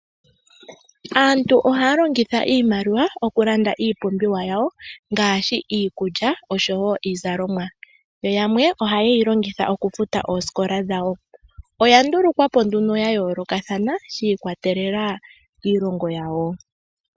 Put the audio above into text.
Aantu ohaya imaliwa okulanda iipumbiwa yawo ngaashi iikulya oshowo iizalomwa. Yo yamwe ohaye yilongitha okufuta oosikola dhawo. Oya ndulukwa po nduno ya yoolokathana shi ikwatelela kiilongo yawo.